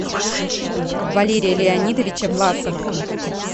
валерия леонидовича власова